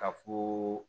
Ka fo